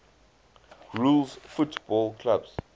rules football clubs